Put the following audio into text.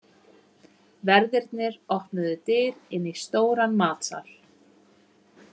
Verðirnir opnuðu dyr inn í stóran matsal.